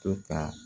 To ka